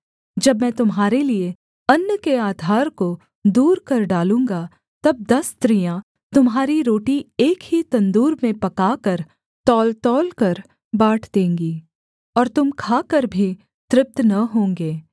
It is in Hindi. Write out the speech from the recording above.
जब मैं तुम्हारे लिये अन्न के आधार को दूर कर डालूँगा तब दस स्त्रियाँ तुम्हारी रोटी एक ही तंदूर में पकाकर तौलतौलकर बाँट देंगी और तुम खाकर भी तृप्त न होंगे